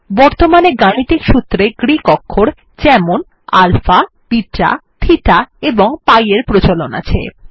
বর্তমানে গাণিতিক সূত্রে গ্রিক অক্ষর যেমন আলফা বিটা থিটা এবং পাই এর প্রচলন আছে